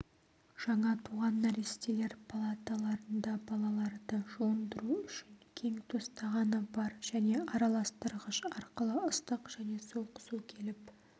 жаңа туған нәрестелер палаталарында балаларды жуындыру үшін кең тостағаны бар және араластырғыш арқылы ыстық және суық су келіп